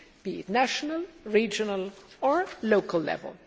be it at national, regional or local level.